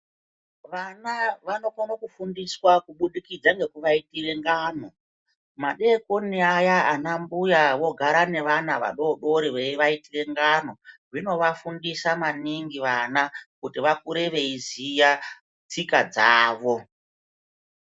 Vana vanokone kufundiswa kuburikidza ngekuvaitire ngano. Madekoni aya vanambuya vogare nevana vadodori veivaitire ngano. Zvinoafundisa maningi vana kuti vakure veiziya tsika dzawo.